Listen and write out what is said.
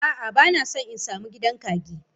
A'a bana son in sa mu gidan kagi.